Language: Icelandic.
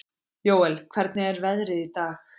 Jóel, hvernig er veðrið í dag?